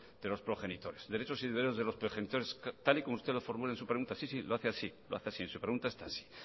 de los progenitores derechos y deberes de los progenitores tal y como usted los formula en su pregunta sí sí lo hace así en su pregunta está así